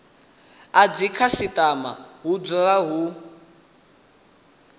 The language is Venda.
a dzikhasitama hu dzule hu